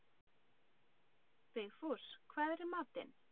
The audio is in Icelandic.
Vigfús, hvað er í matinn?